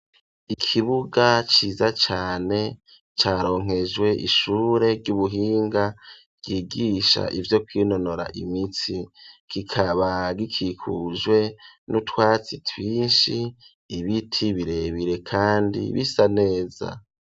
Ikibuga ciza cane caronkejwe ishure ry'ubuhinga ryigisha ivyo kwinonora imitsi, kikaba gikikujwe n'utwatsi twinshi, ibiti birebire kandi bisa neza.